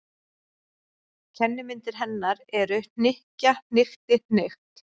Kennimyndir hennar eru: hnykkja- hnykkti- hnykkt.